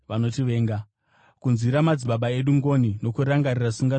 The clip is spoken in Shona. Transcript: kunzwira madzibaba edu ngoni nokurangarira sungano yake tsvene,